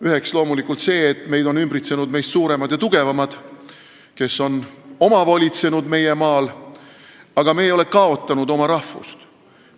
Üks on loomulikult see, et meid on ümbritsenud meist suuremad ja tugevamad, kes on omavolitsenud meie maal, aga me ei ole kaotanud oma rahvust.